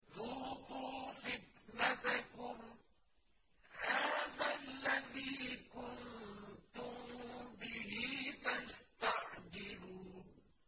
ذُوقُوا فِتْنَتَكُمْ هَٰذَا الَّذِي كُنتُم بِهِ تَسْتَعْجِلُونَ